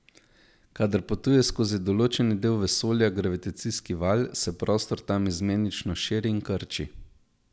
Kadar potuje skozi določeni del vesolja gravitacijski val, se prostor tam izmenično širi in krči.